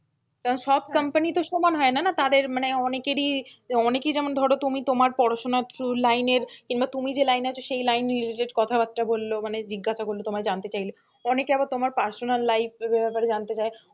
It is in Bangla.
কারণ সব company তো সমান হয়না না তাদের মানে অনেকেরই অনেকে যেমন ধরো তুমি তোমার পড়াশোনার line এর কিংবা তুমি যে line আছো সেই line related কথাবার্তা বললো মানে জিজ্ঞাসা করলো তোমায় জানতে চাইলো, অনেকে আবার তোমার personal life এর ব্যাপারে জানতে চায়,